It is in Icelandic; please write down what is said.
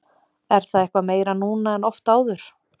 Er það eitthvað meira núna en oft áður?